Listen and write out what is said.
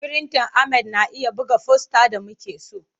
Firintan Ahmad na iya buga fosta da muke so.